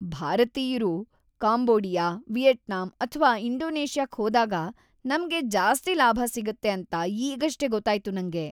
ಭಾರತೀಯ್ರು Cambodia, Vietnam ಅಥ್ವಾ ಇಂಡೋನೇಷ್ಯಾಕ್ ಹೋದಾಗ ನಮ್ಗೆ ಜಾಸ್ತಿ ಲಾಭ ಸಿಗುತ್ತೆ ಅಂತ ಈಗಷ್ಟೇ ಗೊತ್ತಾಯ್ತು ನಂಗೆ!